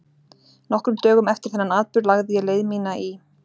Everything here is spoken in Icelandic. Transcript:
Nokkrum dögum eftir þennan atburð lagði ég leið mína í